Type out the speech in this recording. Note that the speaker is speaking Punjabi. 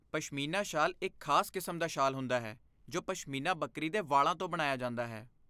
ਪਸ਼ਮੀਨਾ ਸ਼ਾਲ ਇੱਕ ਖਾਸ ਕਿਸਮ ਦਾ ਸ਼ਾਲ ਹੁੰਦਾ ਹੈ ਜੋ ਪਸ਼ਮੀਨਾ ਬੱਕਰੀ ਦੇ ਵਾਲਾਂ ਤੋਂ ਬਣਾਇਆ ਜਾਂਦਾ ਹੈ।